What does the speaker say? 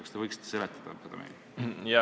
Kas te võiksite meile seda seletada?